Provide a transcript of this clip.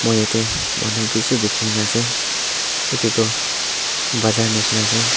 aru ete manu bishi dikhi na ase etu tu bazaar nishe na ase.